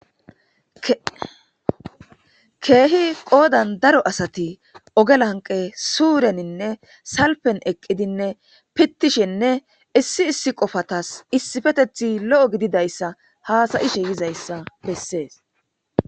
Kehi qoddan daaro asati ogge lanqqe suureninne salfen eqqidinne fitishshenne issi issi qoffatas issipeteththay lo'o gididayssa hasa'ishe diizayssa besess.